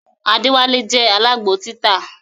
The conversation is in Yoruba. Adewale je alágbo títà